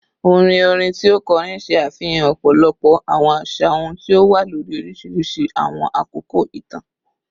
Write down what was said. Orin orin ti o kọrin ṣe afihan ọpọlọpọ awọn aṣa ohun ti o wa lori oriṣiriṣi awọn akoko itan